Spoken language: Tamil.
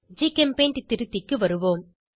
ஜிகெம்பெய்ண்ட் திருத்திக்கு வருவோம்